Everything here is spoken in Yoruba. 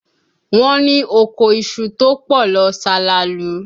Wọ́n ní oko iṣu tó pọ̀ lọ salalu